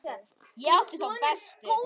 Ég átti þá bestu.